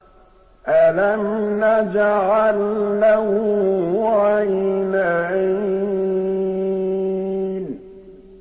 أَلَمْ نَجْعَل لَّهُ عَيْنَيْنِ